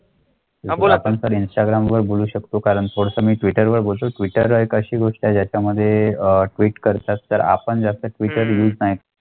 कालपर्यंत चारा मिळू शकतो कारण थोडं मी ट्विटरवर बोलतो. अशी गोष्ट त्याच्यामध्ये ट्विट करतात तर आपण जास्त वेळ नाही.